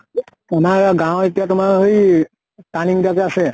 আমাৰ গাঁৱৰ এতিয়া তোমাৰ হৈই turning কিতা যে আছে